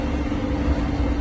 Diqqət.